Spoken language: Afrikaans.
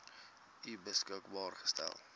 u beskikbaar gestel